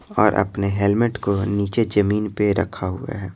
और अपने हेलमेट को नीचे जमीन पर रखा हुआ है।